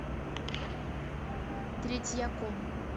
третьяком